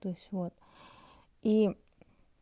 то есть вот и